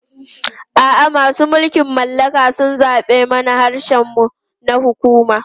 A'a, masu mulkin mallaka sun zaɓe mana harshen mu na hukuma.